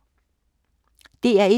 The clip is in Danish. DR1